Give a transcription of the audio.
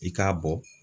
I k'a bɔ